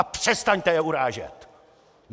A přestaňte je urážet!